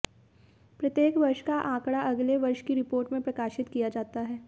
प्रत्येक वर्ष का आंकड़ा अगले वर्ष की रिपोर्ट में प्रकाशित किया जाता है